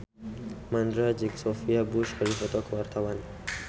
Mandra jeung Sophia Bush keur dipoto ku wartawan